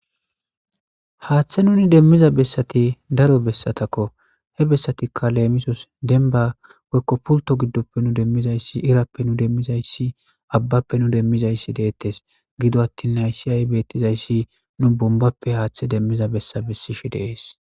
Haaththe nuni demmiza bessati daro bessatakko he bessatikka leemisos denba woykko pulto giddoppe nu demmizayssi irappe nu demmizayssi abbappe nu demmizayssi deettes gido attin nayssiyay beettizayssi nu bombappe haaththe demmiza bessa bessishi deees.